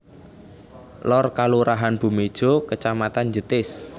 Lor Kalurahan Bumijo Kacamatan Jetis